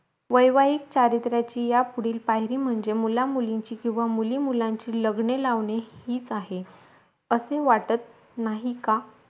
वैवाहिक चारित्र्याची या फुडे पायरी म्हणजे मुला मुलींची किंवा मुली मुलांची लग्ने लावणे हिच आहे असे वाटत नाही का